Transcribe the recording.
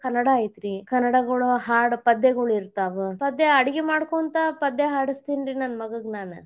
ಕನ್ನಡಾ ಐತರೀ ಕನ್ನಡಗಳು ಹಾಡ್ ಪದ್ಯಗಳು ಇರ್ತಾವ ಪದ್ಯ ಅಡಗಿ ಮಾಡ್ಕೊಂತ ಪದ್ಯ ಹಾಡ್ಸತಿನಿರಿ ನನ್